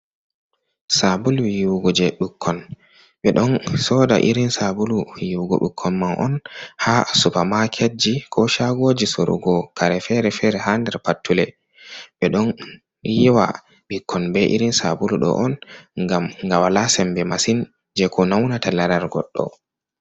Saabulu yiiwugo je ɓukkon, ɓe ɗon sooda irin saabulu yiiwugo ɓukkon man on ha supamaketji ko shaagooji sorugo kare fere-fere ha nder pattule. Ɓe ɗon yiiwa ɓikkon be irin saabulu ɗo on ngam nga walaa sembe masin je ko naunata larar goɗɗo.